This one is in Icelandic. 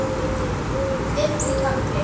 Fimmti kafli